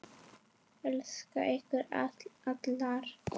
Elska ykkur allar.